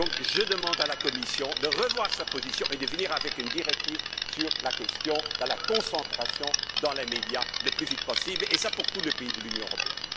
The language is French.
Je demande donc à la Commission de revoir sa position et de proposer une directive sur la question de la concentration dans les médias le plus vite possible, et cela pour tous les pays de l'Union européenne.